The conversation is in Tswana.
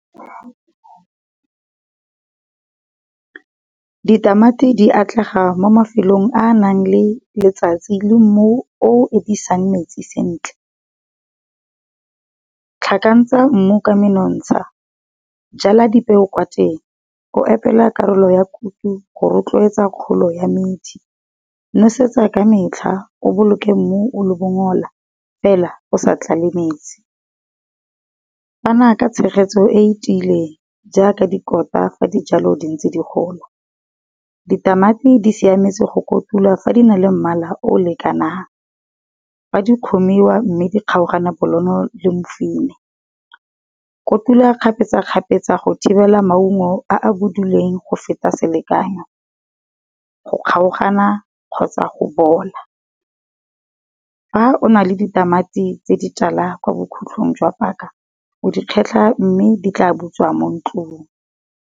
Ditamati di atlega mo mafelong a nang le letsatsi le mmu o fetisang metsi sentle. Tlhakantsha mmu ka menontsha, jala di peo kwa teng, o epele karolo ya kuto go rotloetsa kgolo ya metsi. Nosetsa ka metlha o boloke mmu o le bongola, fela o sa tlale metsi. Fana ka tshegetso e tileng jaaka dikotla fa di jalo di ntse di gola, ditamati di siametse go kotula fa di na le mmala o lekanang. Fa di kgomiwa mme di kgaogana bonolo le mofine. Kotula kgapetsa-kgapetsa go thibela maungo a a boduleng go feta selekanyo, go kgaogana kgotsa go bola. Fa o na le ditamati tse di tala kwa bokhutlong jwa paka, o di kgetlha mme di tla butswa mo ntlung.